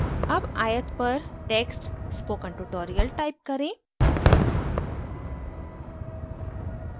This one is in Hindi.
अब आयत पर text spoken tutorial type करें